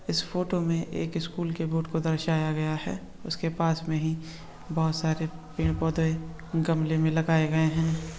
इस फोटो में एक स्कूल के बोर्ड को दर्शाया गया है उसके पास में ही बहुत सारे पेड़ पौधे गमले में लगाए गए हैं।